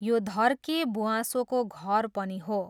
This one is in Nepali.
यो धर्के ब्वाँसोको घर पनि हो।